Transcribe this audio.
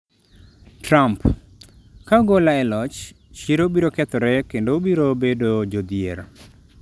Trump: Ka ugola e loch, chiro biro kethore kendo ubiro bedo jodhier